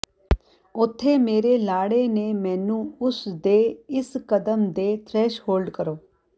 ਉੱਥੇ ਮੇਰੇ ਲਾੜੇ ਨੇ ਮੈਨੂੰ ਉਸ ਦੇ ਇਸ ਕਦਮ ਦੇ ਥਰੈਸ਼ਹੋਲਡ ਕਰੋ